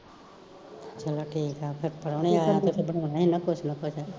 ਚਲੋ ਠੀਕ ਆ, ਫੇਰ ਪ੍ਰਹੁਣੇ ਆਇਆ ਤੇ ਤਾਂ ਬਣਾਉਣ ਈ ਨਾ ਕੁਸ਼ ਨਾ ਕੁਸ਼